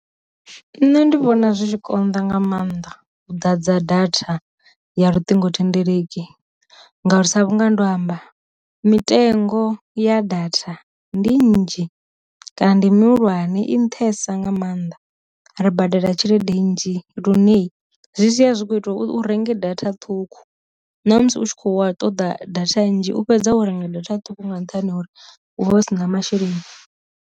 Nṋe ndi vhona zwi tshi konḓa nga maanḓa u ḓadza data ya luṱingo thendeleki, ngauri sa vhunga ndo amba mitengo ya datha ndi nnzhi kana ndi mihulwane i nṱhesa nga maanḓa ri badela tshelede nnzhi luneyi zwi sia zwi tshi kho ita u renge data ṱhukhu, na musi u tshi kho wa ṱoḓa data nnzhi u fhedza wo renga data ṱhukhu nga nṱhani ha uri u vha u si na masheleni.